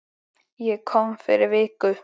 Ég kom fyrir viku